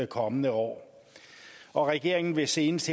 kommende år regeringen vil senest